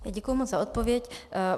Děkuji moc za odpověď.